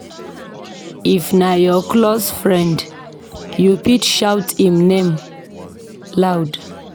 If na your close friend, you fit shout im name loud.